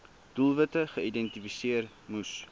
doelwitte geïdentifiseer moes